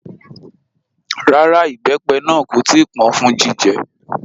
Rárá, ìbẹ́pẹ náà kò tí ì pọ́n fún jíjẹ